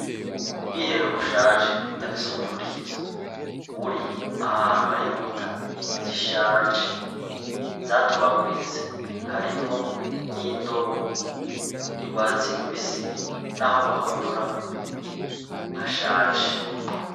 Ubwiherero bushaje budafise umufundikizo buri ahantu hari inkuta zishaje zatobaguritse harimwo n'indobo yurwatsi rubisi naho bahonyora hashaje.